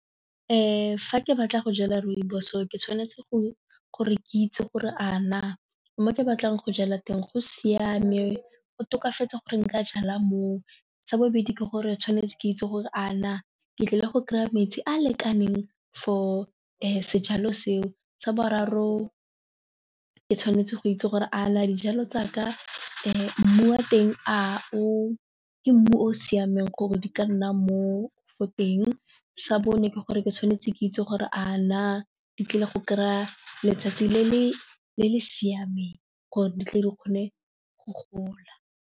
Fa ke batla go jala rooibos ke tshwanetse gore ke itse gore a na mo ke batlang go jala teng go siame go tokafatse gore nka jala moo, sa bobedi ke gore tshwanetse ke itse gore a na ke tlile go kry-a metsi a lekaneng for sejalo seo, sa boraro ke tshwanetse go itse gore a na dijalo tsaka mmu wa teng a o ke mmu o siameng gore di ka nna mo fo teng sa bone ke gore ke tshwanetse ke itse gore a na di tlile go kry-a letsatsi le le siameng gore di tle di kgone go gola.